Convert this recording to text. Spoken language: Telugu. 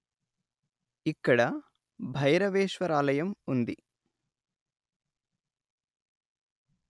ఇక్కడ భైరవేశ్వరాలయం ఉంది